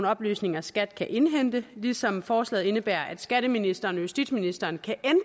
oplysninger skat kan indhente ligesom forslaget indebærer at skatteministeren og justitsministeren kan